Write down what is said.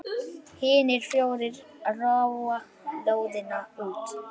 Hinir fjórir róa lóðina út.